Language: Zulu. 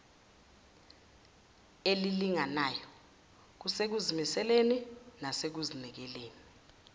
elilinganayo kusekuzimiseleni nasekuzinikeleni